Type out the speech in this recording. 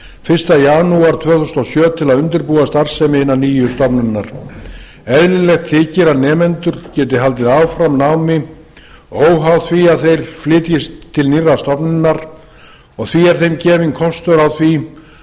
fyrsta janúar tvö þúsund og sjö til að undirbúa starfsemi hinnar nýju stofnunar eðlilegt þykir að nemendur geti haldið áfram námi óháð því að þeir flytjist til nýrrar stofnunar og því er þeim gefinn kostur á því